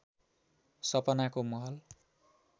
सपनाको महल